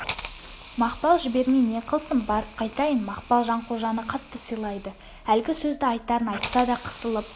мақпал жібермей не қылсын барып қайтайын мақпал жанқожаны қатты сыйлайды әлгі сөзді айтарын айтса да қысылып